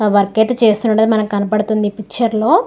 Work అయితే చేస్తుండడం అని మనకి కనపడుతుంది. ఈ పిక్చర్ లో --